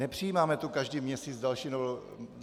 Nepřijímáme tu každý měsíc další novelu.